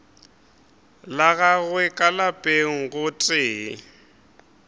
la gagwe ka lapeng gotee